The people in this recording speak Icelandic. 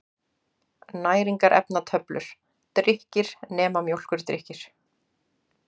Næringarefnatöflur: Drykkir, nema mjólkurdrykkir.